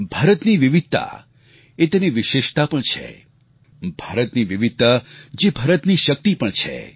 ભારતની વિવિધતા એ તેની વિશેષતા પણ છે ભારતની વિવિધતા જે ભારતની શક્તિ પણ છે